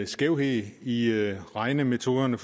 skævhed i regnemetoderne